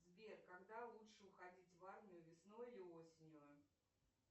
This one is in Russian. сбер когда лучше уходить в армию весной или осенью